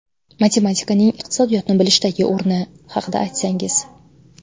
Matematikaning iqtisodiyotni bilishdagi o ‘ rni haqida aytsangiz.